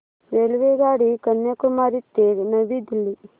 रेल्वेगाडी कन्याकुमारी ते नवी दिल्ली